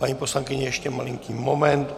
Paní poslankyně, ještě malinký moment.